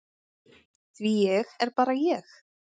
Því ég er bara ég.